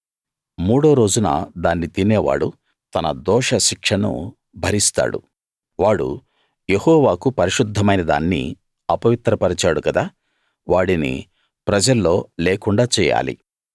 మూడో రోజున దాన్ని తినేవాడు తన దోషశిక్షను భరిస్తాడు వాడు యెహోవాకు పరిశుద్ధమైన దాన్ని అపవిత్ర పరిచాడు కదా వాడిని ప్రజల్లో లేకుండా చెయ్యాలి